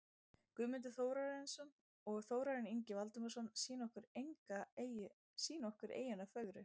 Guðmundur Þórarinsson og Þórarinn Ingi Valdimarsson sýna okkur eyjuna fögru.